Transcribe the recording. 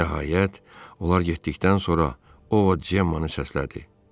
Nəhayət, onlar getdikdən sonra Ovod Cemmanı səslədi.